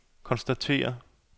konstatere